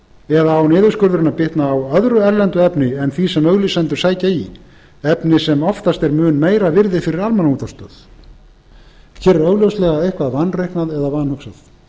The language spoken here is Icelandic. eða á niðurskurðurinn að vitna á öðru erlendu efni en því sem auglýsendur sækja í efni sem oftast er mun meira virði fyrir almannaútvarp hér er augljóslega eitthvað vanreiknað eða vanhugsað